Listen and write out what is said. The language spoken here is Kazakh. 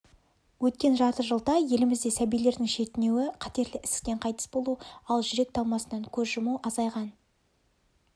өткен жарты жылда елімізде сәбилердің шетінеуі қатерлі ісіктен қайтыс болу ал жүрек талмасынан көз жұму азайған